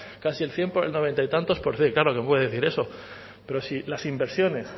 casi el cien el noventa y tantos por cien claro que puede decir eso pero si las inversiones